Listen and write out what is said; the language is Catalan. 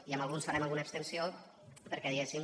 i en alguns farem alguna abstenció perquè diguéssim